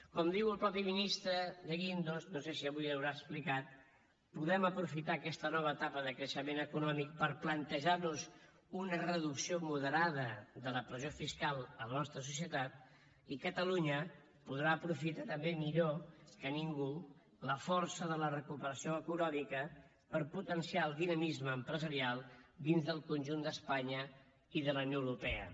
com diu el mateix ministre de guindos no sé si avui li ho haurà explicat podem aprofitar aquesta nova etapa de creixement econòmic per plantejar nos una reducció moderada de la pressió fiscal a la nostra societat i catalunya podrà aprofitar també millor que ningú la força de la recuperació econòmica per potenciar el dinamisme empresarial dins del conjunt d’espanya i de la unió europea